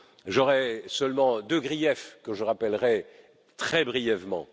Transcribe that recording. J'aurais seulement deux griefs, que je rappellerai très brièvement.